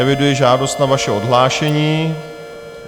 Eviduji žádost o vaše odhlášení.